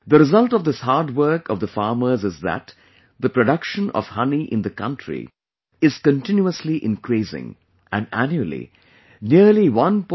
The result of this hard work of the farmers is that the production of honey in the country is continuously increasing, and annually, nearly 1